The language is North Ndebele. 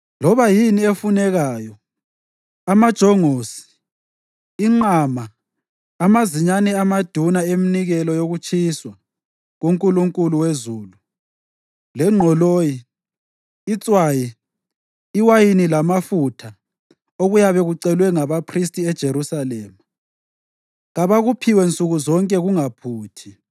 Loba yini efunekayo, amajongosi, inqama, amazinyane amaduna eminikelo yokutshiswa kuNkulunkulu wezulu, lengqoloyi, itswayi, iwayini lamafutha okuyabe kucelwe ngabaphristi eJerusalema, kabakuphiwe nsuku zonke kungaphuthi,